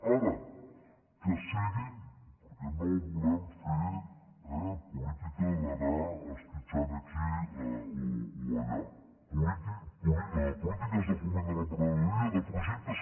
ara que siguin perquè no volen fer política d’anar esquitxant aquí o allà polítiques de foment de l’emprenedoria de projectes